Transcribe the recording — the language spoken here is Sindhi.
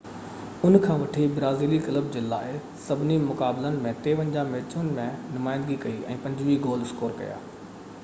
ان کان وٺي برازيلي ڪلب جي لاءِ سڀني مقابلن ۾ 53 ميچن ۾ نمائندگي ڪئي ۽ 25 گول اسڪور ڪيا آهن